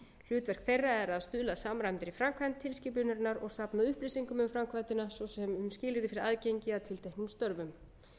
hlutverk þeirra er að stuðla að samræmdri framkvæmd tilskipunarinnar og safna upplýsingum um framkvæmdina svo sem um skilyrði fyrir aðgengi að tilteknum störfum